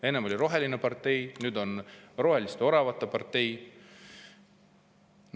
Enne oli roheline partei, nüüd on roheliste oravate partei.